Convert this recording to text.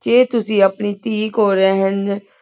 ਜੀ ਤੁਸੇਈ ਆਪਣੀ ਟੀ ਕੁਲ ਰਹੂਂ